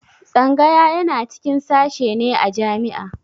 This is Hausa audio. Tsangaya yana cikin sashe ne a jami'a